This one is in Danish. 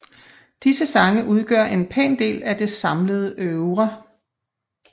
Disse sange udgør en pæn del af det samlede oeuvre